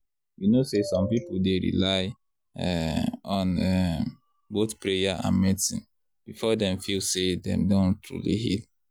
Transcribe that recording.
you know say some people dey rely um on um both prayer and medicine before dem feel say dem don truly heal.